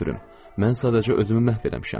Mən sadəcə özümü məhv eləmişəm.